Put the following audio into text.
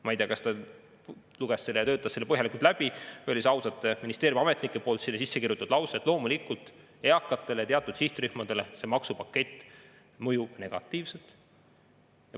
Ma ei tea, kas ta luges seda ja töötas selle põhjalikult läbi või olid ausad ministeeriumiametnikud selle lause sinna sisse kirjutanud, et loomulikult eakatele ja teatud sihtrühmadele see maksupakett mõjub negatiivselt.